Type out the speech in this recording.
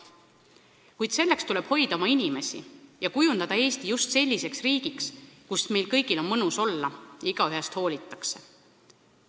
Kuid selleks tuleb hoida oma inimesi ja kujundada Eesti just selliseks riigiks, kus meil kõigil on mõnus olla ja igaühest hoolitakse.